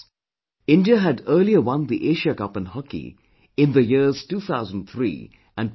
India had earlier won the Asia Cup in Hockey in the years 2003 and 2007